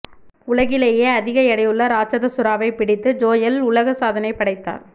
உலகிலேயே அதிக எடையுள்ள ராட்சத சுறாவை பிடித்து ஜோயல் உலக சாதனை படைத்தார்